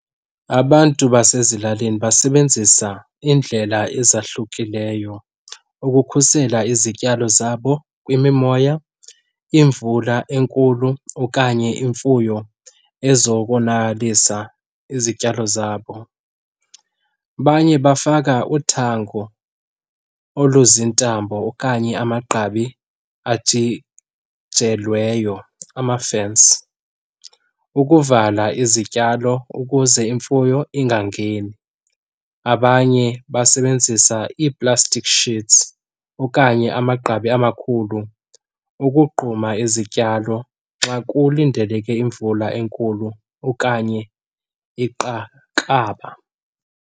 Abantu basezilalini basebenzisa iindlela ezahlukileyo ukukhusela izityalo zabo kwimimoya, imvula enkulu okanye imfuyo ezokonakalisa izityalo zabo. Abanye bafaka uthango oluzintambo okanye amagqabi ajijelweyo, amafensi, ukuvala izityalo ukuze imfuyo ingangeni. Abanye basebenzisa ii-plastic sheets okanye amagqabi amakhulu ukugquma izityalo xa kulindeleke imvula enkulu okanye .